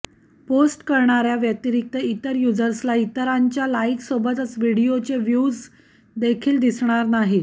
post करणाऱ्या व्यतिरिक्त इतर युजर्सला इतरांच्या लाईकसोबतच व्हिडीओचे व्यूव्हज देखील दिसणार नाहीत